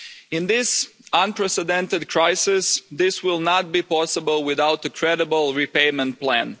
In this unprecedented crisis this will not be possible without a credible repayment plan.